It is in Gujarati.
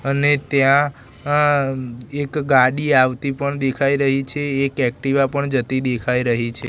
અને ત્યાં અ એક ગાડી આવતી પણ દેખાય રહી છે એક એક્ટિવા પણ જતી દેખાય રહી છે.